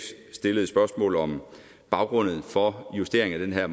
stillede et spørgsmål om baggrunden for justeringen af